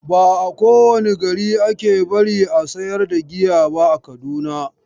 Ba a kowane gari ake bari a sayar da giya ba a Kaduna.